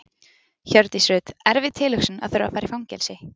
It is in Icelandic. Hjördís Rut: Erfið tilhugsun að þurfa að fara í fangelsi?